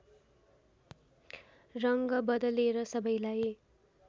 रङ बदलेर सबैलाई